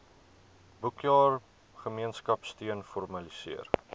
boekjaar gemeenskapsteun formaliseer